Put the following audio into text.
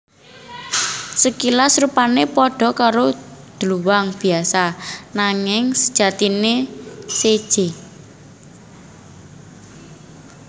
Sakilas rupané padha karo dluwang biasa nanging sajatiné séjé